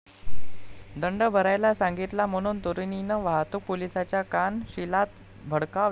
दंड भरायला सांगितला म्हणून तरुणीनं वाहतूक पोलिसाच्या कानशिलात भडकावली